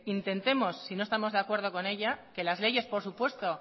intentemos si no estamos de acuerdo con ella que las leyes por supuesto